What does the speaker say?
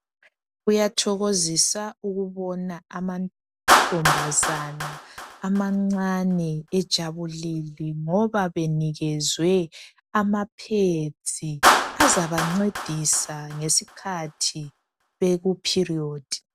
Kuyathokozisa ukubona amantombazana amancane ejabulile ngoba benikezwe amapads azabancedisa ngesikhathi beku period.